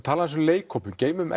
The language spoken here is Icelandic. tala um leikhópinn geymum